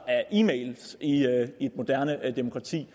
e mails i et moderne demokrati